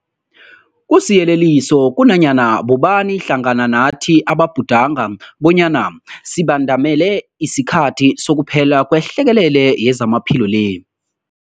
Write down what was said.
Kusiyeleliso kunanyana bobani hlangana nathi ababhudanga bonyana sibandamele isikhathi sokuphela kwehlekelele yezamaphilo le.